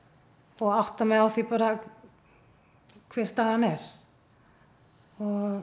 og átta mig á því hver staðan er ég